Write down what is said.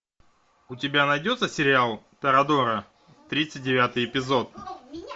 у тебя найдется сериал торадора тридцать девятый эпизод